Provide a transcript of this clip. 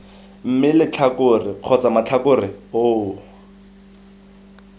mme letlhakore kgotsa matlhakore oo